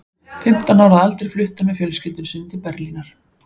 Fimmtán ára að aldri flutti hann með fjölskyldu sinni til Berlínar.